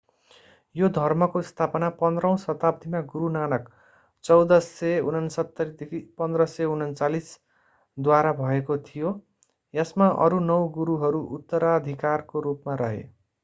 यो धर्मको स्थापना 15 औँ शताब्दीमा गुरू नानक 1469–1539 द्वारा भएको थियो। यसमा अरू नौ गुरूहरू उत्तराधिकारको रूपमा रहे।